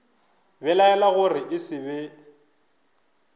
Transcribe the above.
belaela gore e se be